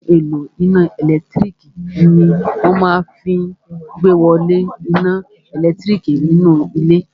Ohun èlò iná ẹ̀lẹ́tírík ní wọ́n máa fí n ìgbéwolé iná ẹlẹtíríkì nínú ilé